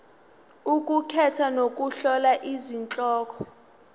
ukukhetha nokuhlola izihloko